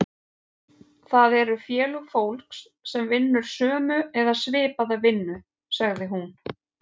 Það eru félög fólks sem vinnur sömu eða svipaða vinnu, sagði hún.